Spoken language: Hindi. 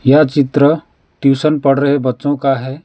यह चित्र ट्यूशन पढ़ रहे बच्चों का है।